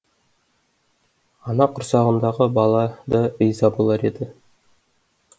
ана құрсағындағы бала да риза болар еді